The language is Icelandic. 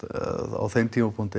á þeim tímapunkti